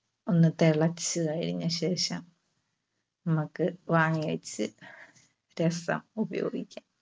ഒന്ന് തിളച്ച് കഴിഞ്ഞ ശേഷം നമുക്ക് വാങ്ങിവെച്ച് രസം ഉപയോഗിക്കാം.